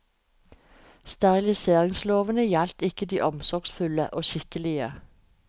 Steriliseringslovene gjaldt ikke de omsorgsfulle og skikkelige.